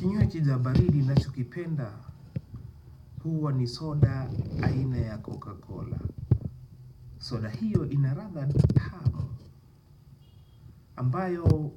Kinywaji cha baridi ninacho kipenda huwa ni soda aina ya coca cola. Soda hiyo inaladha tamu ambayo